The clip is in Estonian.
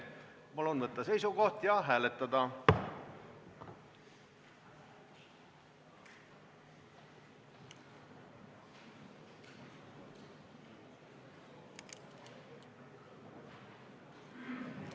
Palun võtta seisukoht ja hääletada!